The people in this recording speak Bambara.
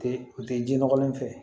U tɛ u tɛ ji nɔgɔlen fɛ